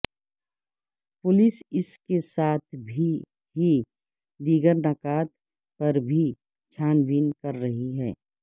police اس کے ساتھ ہی دیگر نکات پر بھی چھان بین کر رہی ہے